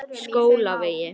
Skólavegi